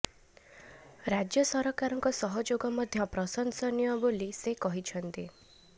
ରାଜ୍ୟ ସରକାରଙ୍କ ସହଯୋଗ ମଧ୍ୟ ପ୍ରଶଂସନୀୟ ବୋଲି ସେ କହିଛନ୍ତି